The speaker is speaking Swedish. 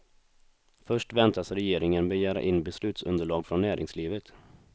Först väntas regeringen begära in beslutsunderlag från näringslivet.